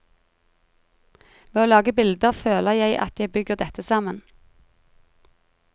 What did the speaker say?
Ved å lage bilder, føler jeg at jeg bygger dette sammen.